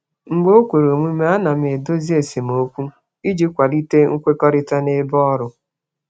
Mgbe o kwere omume, ana m edozi esemokwu iji kwalite nkwekọrịta kwalite nkwekọrịta n'ebe ọrụ.